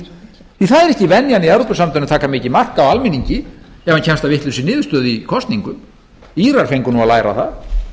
ekki venjan í evrópusambandinu að taka mikið mark á almenningi ef hann kemst að vitlausri niðurstöðu í kosningum írar fengu að læra það